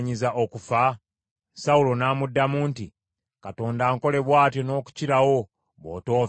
Sawulo n’amuddamu nti, “Katonda ankole bw’atyo n’okukirawo bw’otoofe, Yonasaani!”